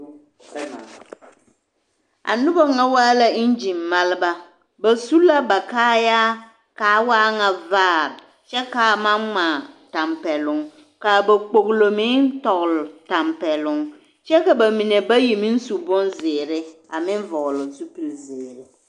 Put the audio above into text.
A noba ŋa waa la eŋgin maleba, ba su la baa kaayaa k'a waa ŋa vaare kyɛ k'a maŋ ŋmaa tampɛloŋ k'a ba kpogilo meŋ tɔgele tampɛloŋ kyɛ ka bamine bayi meŋ su bonzeere a meŋ vɔgele zupili zeere.